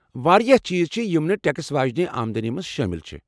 واریاہ چیٖز چھِ یم نہٕ ٹیکس واجِنہِ آمدنی منز شٲمِل چھِ ۔